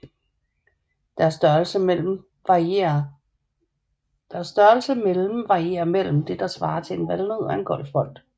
Deres størrelse mellem varierer mellem det der svarer til en valnød og en golfbold